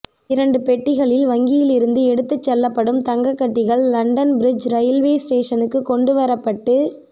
இரண்டு பெட்டிகளில் வங்கியிலிருந்து எடுத்துச் செல்லப்படும் தங்கக் கட்டிகள் லண்டன் ப்ரிட்ஜ் ரயில்வே ஸ்டேஷனுக்கு கொண்டு வரப்பட்டு